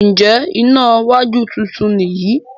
Njé iná wájú títún ni yí?